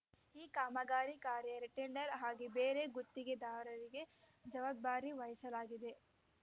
ಈ ಕಾಮಗಾರಿ ಕಾರ್ಯ ರೀಟೆಂಡರ್‌ ಆಗಿ ಬೇರೆ ಗುತ್ತಿಗೆದಾರರಿಗೆ ಜವಾಬ್ದಾರಿ ವಹಿಸಲಾಗಿದೆ